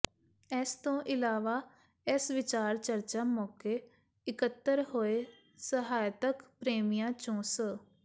ਇਸ ਤੋਂ ਇਲਾਵਾ ਇਸ ਵਿਚਾਰ ਚਰਚਾ ਮੌਕੇ ਇਕੱਤਰ ਹੋਏ ਸਾਹਿਤਕ ਪ੍ਰੇਮੀਆਂ ਚੋਂ ਸ